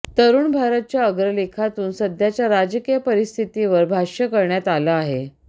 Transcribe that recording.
तरुण भारतच्या अग्रलेखातून सध्याच्या राजकीय परिस्थितीवर भाष्य करण्यात आलं आहे